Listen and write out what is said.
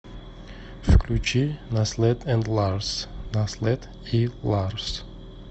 включи наслед энд ларс наслед и ларс